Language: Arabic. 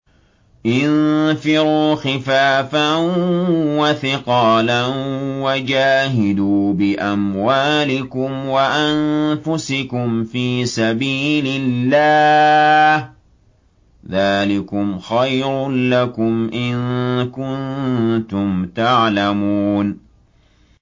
انفِرُوا خِفَافًا وَثِقَالًا وَجَاهِدُوا بِأَمْوَالِكُمْ وَأَنفُسِكُمْ فِي سَبِيلِ اللَّهِ ۚ ذَٰلِكُمْ خَيْرٌ لَّكُمْ إِن كُنتُمْ تَعْلَمُونَ